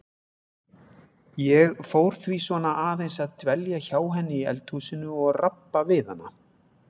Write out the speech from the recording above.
Ég fór því svona aðeins að dvelja hjá henni í eldhúsinu og rabba við hana.